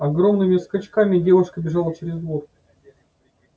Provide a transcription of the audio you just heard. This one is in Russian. огромными скачками девушка бежала через двор